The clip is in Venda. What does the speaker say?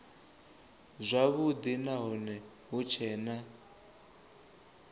zwavhudi nahone hu tshee na